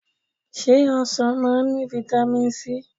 se osan maa n ni vitami sii?